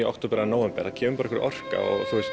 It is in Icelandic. október eða nóvember það kemur einhver orka